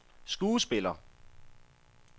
skuespiller